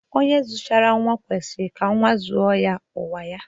Onye zμchara nwa kwesjrj ka nwa zuo ya onwe ya.